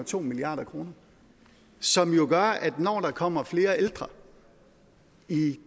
to milliard kr som jo gør at når der kommer flere ældre i